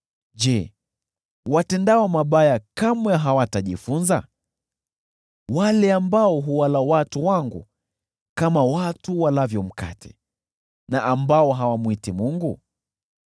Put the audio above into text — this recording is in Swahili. Je, watendao mabaya kamwe hawatajifunza: wale ambao huwala watu wangu kama watu walavyo mkate, hao ambao hawamwiti Mungu?